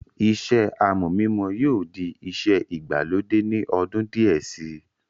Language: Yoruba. iṣẹ́ amọ̀ mímọ yóò di iṣẹ́ ìgbàlódé ní ọdún díẹ̀ si